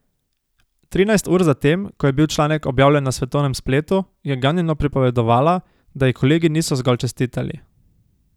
Trinajst ur zatem, ko je bil članek objavljen na svetovnem spletu, je ganjeno pripovedovala, da ji kolegi niso zgolj čestitali.